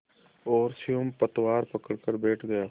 और स्वयं पतवार पकड़कर बैठ गया